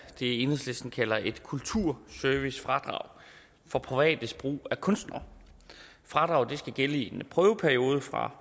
enhedslisten kalder et kulturservicefradrag for privates brug af kunstnere fradraget skal gælde i en prøveperiode fra